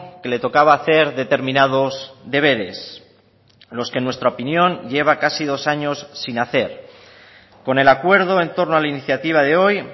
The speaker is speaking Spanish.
que le tocaba hacer determinados deberes los que en nuestra opinión lleva casi dos años sin hacer con el acuerdo en torno a la iniciativa de hoy